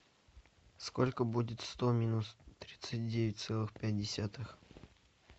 сколько будет сто минус тридцать девять целых пять десятых